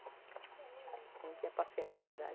A gente ia passear na cidade.